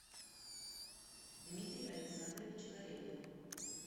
дмитрий александрович корягин